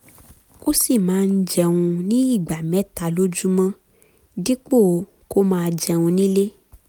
ó sì máa ń jẹun ní ìgbà mẹ́ta lójúmọ́ dípò kó máa jẹun nílé